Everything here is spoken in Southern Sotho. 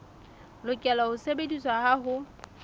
lokela ho sebediswa ha ho